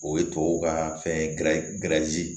O ye tubabuw ka fɛn gɛrɛzi ye